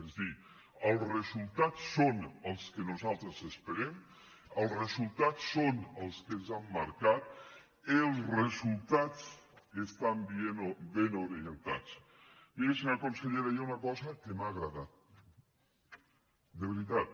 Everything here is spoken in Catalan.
és a dir els resultats són els que nosaltres esperem els resultats són els que ens han marcat els resultats estan ben orientats miri senyora consellera hi ha una cosa que m’ha agradat de veritat